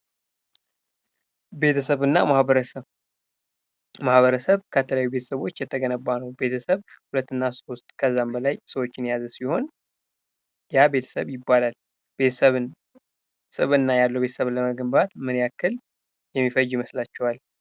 ቤተሰብና ማህበረሰብ ማህበረሰብ ከተለያየ ቤተሰቦች የተገነባ ነው። ቤተሰብ ሁለትና ሶስት ከዛም በላይ ሰዎችን የያዘ ሲሆን ያ ቤተሰብ ይባላል። ቤተሰብን ስብዕና ያለው ቤተሰብ ለመገንባት ምን ያክል የሚፈጅ ይመስላችኋል?